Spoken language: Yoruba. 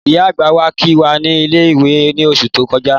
Ìyá àgbà wá kí wá ní ilé-ìwé ni oṣù tó kọjá